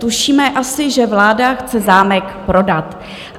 Tušíme asi, že vláda chce zámek prodat.